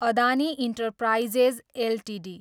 Adani enterprises Ltd